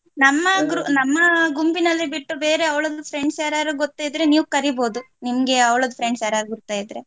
ನಮ್ಮ gr~ ನಮ್ಮ ಗುಂಪಿನಲ್ಲಿ ಬಿಟ್ಟು ಬೇರೆ ಅವಳದು friends ಯಾರಾದ್ರೂ ಗೊತ್ತಿದ್ರೆ ನೀವು ಕರೀಬಹುದು ನಿಮ್ಗೆ ಅವಳ friends ಗುರ್ತ ಇದ್ರೆ.